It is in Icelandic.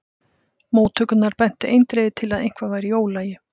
Móttökurnar bentu eindregið til að eitthvað væri í ólagi.